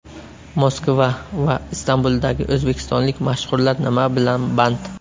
Moskva va Istanbuldagi o‘zbekistonlik mashhurlar nima bilan band?